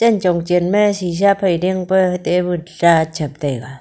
chhen chhong chen ma shisha phai diang pa table ta chep taega.